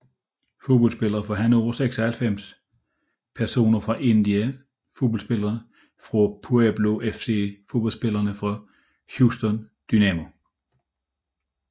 Fodboldspillere fra Hannover 96 Personer fra Indiana Fodboldspillere fra Puebla FC Fodboldspillere fra Houston Dynamo